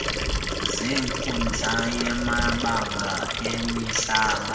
zenkundla yamabango emihlaba